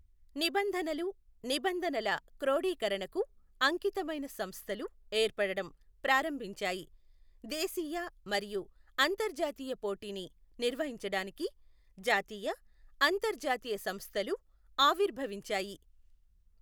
నిబంధనలు, నిబంధనల క్రోడీకరణకు అంకితమైన సంస్థలు ఏర్పడటం ప్రారంభించాయి, దేశీయ మరియు అంతర్జాతీయ పోటీని నిర్వహించడానికి జాతీయ, అంతర్జాతీయ సంస్థలు ఆవిర్భవించాయి.